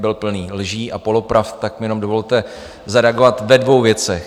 Byl plný lží a polopravd, tak mi jenom dovolte zareagovat ve dvou věcech.